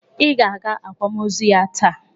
Ị ga-aga akwamozu ya taa!